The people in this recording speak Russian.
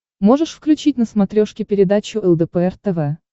можешь включить на смотрешке передачу лдпр тв